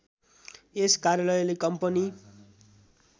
यस कार्यालयले कम्पनी